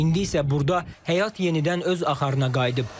İndi isə burda həyat yenidən öz axarına qayıdıb.